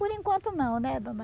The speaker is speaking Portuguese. Por enquanto não, né dona?